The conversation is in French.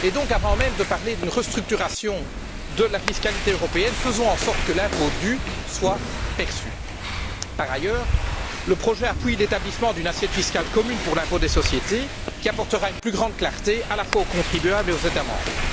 Avant même de parler d'une restructuration de la fiscalité européenne, faisons en sorte que l'impôt dû soit perçu. Par ailleurs, le projet appuie l'établissement d'une assiette fiscale commune pour l'impôt des sociétés qui apportera une plus grande clarté à la fois aux contribuables et aux États membres.